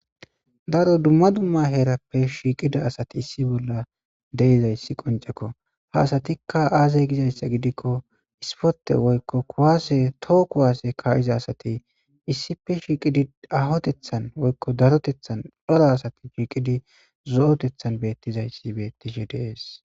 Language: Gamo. Daro dumma dumma herappe shikida asiy de'izaysi qonc'ekko. Ha asati azze gizaysa giddiko ispote woykon kuwase too kuwase issippe shiqidi ahotethan woyko darotethan c'ora asati zoo'otethan bettishe de'es.